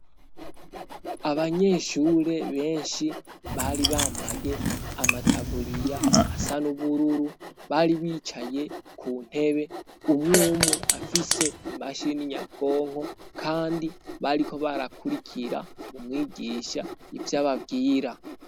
abanyeshure benshi bari bambaye amataburiya asa nubururu bari bicaye ku ntebe umwumwe afise imashini nyabwonko kandi bariko barakurikira umwigisha ivy'ababwira